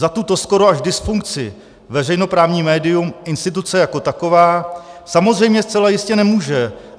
Za tuto skoro až dysfunkci veřejnoprávní médium, instituce jako taková, samozřejmě zcela jistě nemůže.